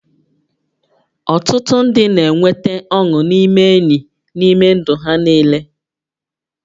Ọtụtụ ndị na-enweta ọṅụ n'ime enyi n'ime ndụ ha niile